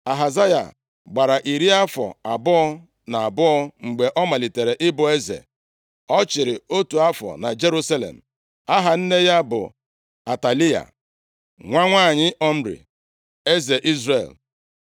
Ahazaya gbara iri afọ abụọ na abụọ mgbe ọ malitere ịbụ eze, ọ chịrị otu afọ na Jerusalem. Aha nne ya bụ Atalaya, + 8:26 Atalaya, bụ nwunye Joram, bụrụkwa nwa eze Ehab, onye Jezebel mụrụ ya. \+xt 2Ih 21:6\+xt* nwa nwa Omri, eze Izrel